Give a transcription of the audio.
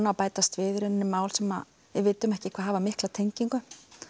að bætast við mál sem við vitum ekki hvað hafa mikla tengingu